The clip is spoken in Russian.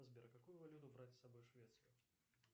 сбер какую валюту брать с собой в швецию